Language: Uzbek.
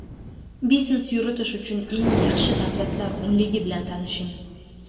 Biznes yuritish uchun eng yaxshi davlatlar o‘nligi bilan tanishing.